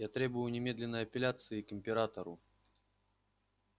я требую немедленной апелляции к императору